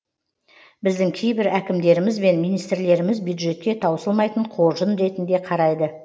біздің кейбір әкімдеріміз бен министрлеріміз бюджетке таусылмайтын қоржын ретінде қарайды